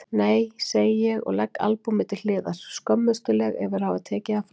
Nei segi ég og legg albúmið til hliðar, skömmustuleg yfir að hafa tekið það fram.